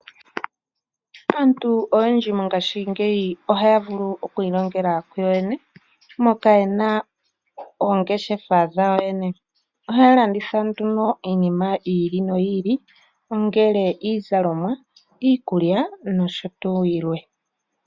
Aantu oyendji mongaashingeyi ohaya vulu oku ilongela kuyo yene, moka yena oongeshefa dhawo yene, ohaya landitha nduno iinima yi ili noyi ili ongele iizalomwa, iikulya nosho tuu yilwe.